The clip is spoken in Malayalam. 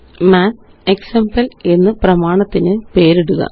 മാത്തക്സാംപിൾ1 എന്ന് പ്രമാണത്തിന് പേരിടുക